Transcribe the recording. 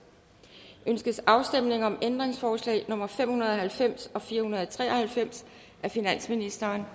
ønskes afstemning om ændringsforslag nummer fem hundrede og halvfems og fire hundrede og tre og halvfems af finansministeren